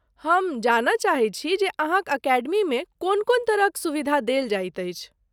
हम जानय चाहैत छी जे अहाँक अकेडमीमे कोन कोन तरहक सुविधा देल जाइत अछि।